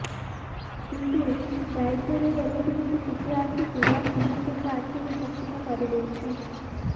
କିନ୍ତୁ ବ୍ରାଇଟେନ୍ର ଏମିତି କିଛି ଚିତ୍ର ଆସିଛି ଯାହା ସମସ୍ତଙ୍କ ଆଖିକୁ ଚକିତ କରିଦେଇଛି